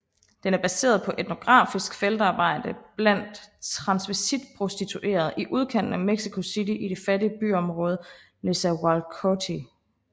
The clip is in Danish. Den er baseret på etnografisk feltarbejde blandt transvestitprostituerede i udkanten af Mexico City i det fattige byområde Nezahualcoyotl